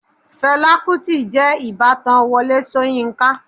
Fẹlá Kútì jẹ́ ìbátan Wọlé Ṣóyínká.